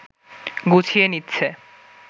গুছিয়ে নিচ্ছে